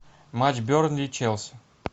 матч бернли челси